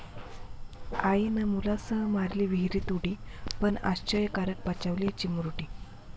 आईनं मुलांसह मारली विहिरीत उडी, पण आश्चर्यकारक बचावली चिमुरडी